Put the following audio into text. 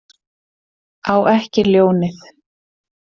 Á ekki ljónið.